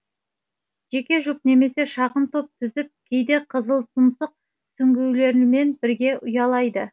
жеке жұп немесе шағын топ түзіп кейде қызылтұмсық сүңгуірлерімен бірге ұялайды